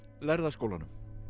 lærða skólanum